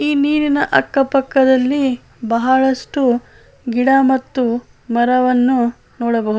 ಈ ನೀರಿನ ಅಕ್ಕಪಕ್ಕದಲ್ಲಿ ಬಹಳಷ್ಟು ಗಿಡ ಮತ್ತು ಮರವನ್ನು ನೋಡಬಹುದು.